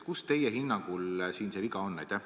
Kus teie hinnangul see viga on?